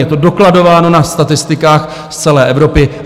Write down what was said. Je to dokladováno na statistikách z celé Evropy.